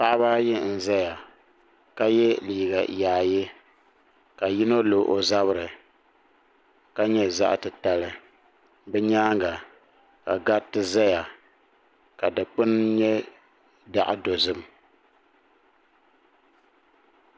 paɣaba ayi n ʒɛya ka yɛ liiga yaayɛ ka yino lo o zabiri ka nyɛ zaɣ titali bi nyaanga ka gariti ʒɛya ka dikpuni nyɛ zaɣ dozim